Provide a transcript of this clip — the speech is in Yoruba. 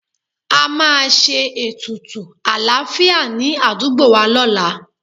A máa ṣe ètùtù àlàáfíà ní àdúgbò wa lọ́la